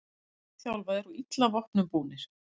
Lítt þjálfaðir og illa vopnum búnir